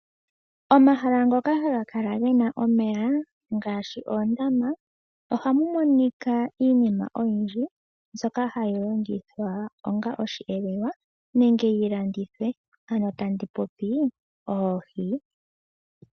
Omahala ngoka haga kala gena omeya ngaashi oondama, ohamu monika iinima oyindji mbyoka hayi longithwa onga oshiyelelwa nenge yi landithwe, ano tandi popi oohi.